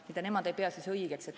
Meie arstid ei pea seda õigeks.